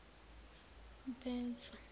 mbhense